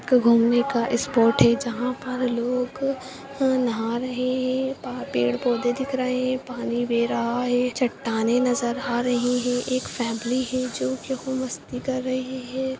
एक घूमने का स्पोर्ट है जहां पर लोग नहा रहे हैं पेड़-पौधे दिख रहे है पानी बह रहा है चट्टाने नजर आ रहे हैं एक फैमिली है जो मस्ती कर रहे हैं।